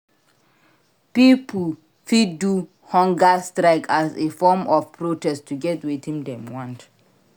Pipo fit do humger strike as a form of protest to get wetin dem want